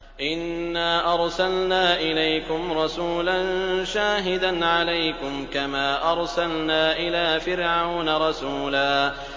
إِنَّا أَرْسَلْنَا إِلَيْكُمْ رَسُولًا شَاهِدًا عَلَيْكُمْ كَمَا أَرْسَلْنَا إِلَىٰ فِرْعَوْنَ رَسُولًا